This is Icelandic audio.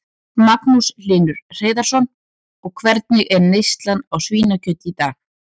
Magnús Hlynur Hreiðarsson: Og hvernig er neyslan á svínakjöti í dag?